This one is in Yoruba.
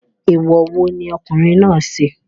Èèwọ̀ wo ni ọkùnrin náà ṣe?